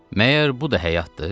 Məgər bu da həyatdır?